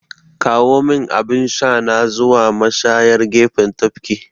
Kawomin abin shana zuwa mashayar gefen tafki!